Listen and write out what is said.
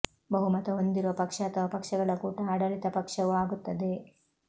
ಬಹುಮತ ಹೊಂದಿರುವ ಪಕ್ಷ ಅಥವಾ ಪಕ್ಷಗಳ ಕೂಟ ಆಡಳಿತ ಪಕ್ಷವು ಆಗುತ್ತದೆ